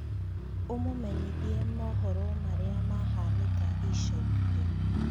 ũmũmenyithia mohoro maria mahanika ica ikuhĩ